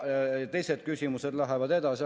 Teised küsimused lähevad edasi.